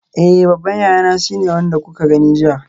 Eh babban yayana shine wanda kuka gani jiya.